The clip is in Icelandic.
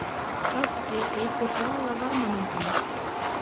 Skjálfti eykur hraða varmamyndunar.